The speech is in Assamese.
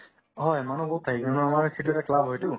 হয়, মানুহ বহুত থাকে কিন্তু আমাৰ সেইটো এটা club হয়তো